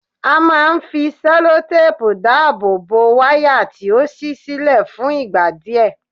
A máa ń fi sẹlotáàpù dáàbò bo wáyà tí ó ṣí sílẹ̀ fún ìgbà díẹ̀